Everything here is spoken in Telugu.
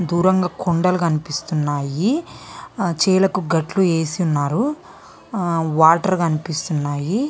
దూరంగా కొండలు కనిపిస్తున్నాయి చేలక గాట్లు వేసి ఉన్నారు వాటర్ వేసి ఉన్నారు .